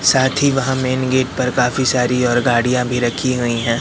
साथी वहाँ main gate पर काफी सारी और गाड़ियाँ भी रखी गई हैं।